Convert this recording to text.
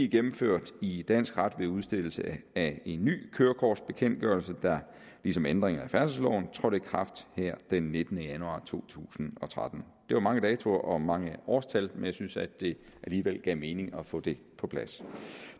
gennemført i dansk ret ved udstedelse af en ny kørekortbekendtgørelse der ligesom ændringerne i færdselsloven trådte i kraft den nittende januar to tusind og tretten det var mange datoer og mange årstal men jeg synes at det alligevel gav mening at få det på plads